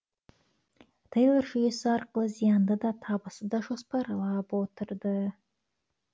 тэйлор жүйесі арқылы зиянды да табысты да жоспарлап отырды